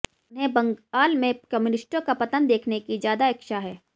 उन्हें बंगाल में कम्यूनिष्टों का पतन देखने की ज्यादा इच्छा है